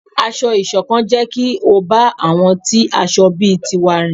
Ásọ̀-ìsokán jẹ kí o bá àwọn tí aṣọ̀ bí tiwá rìn